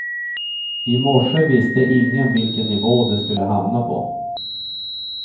I morse visste ingen vilken nivå de skulle hamna på.